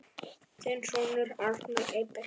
Þinn sonur, Arnar Eyberg.